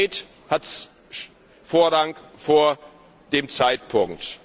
Die Qualität hat Vorrang vor dem Zeitpunkt.